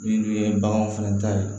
Min dun ye baganw fɛnɛ ta ye